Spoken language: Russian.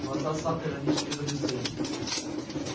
глаза сатта иронически заблестели